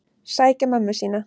Sækja mömmu sína.